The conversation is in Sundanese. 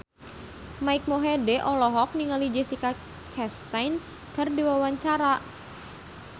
Mike Mohede olohok ningali Jessica Chastain keur diwawancara